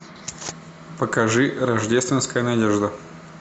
покажи рождественская надежда